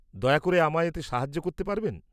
-দয়া করে আমায় এতে সাহায্য করতে পারবেন?